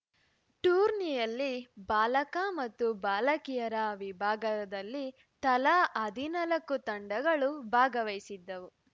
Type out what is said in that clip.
ಟೂರ್ನಿಯಲ್ಲಿ ಬಾಲಕ ಮತ್ತು ಬಾಲಕಿಯರ ವಿಭಾಗದಲ್ಲ ತಲಾ ಹದಿನಾಲ್ಕು ತಂಡಗಳು ಭಾಗವಹಿಸಿದ್ದವು